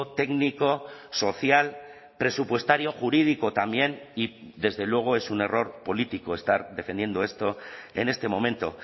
técnico social presupuestario jurídico también y desde luego es un error político estar defendiendo esto en este momento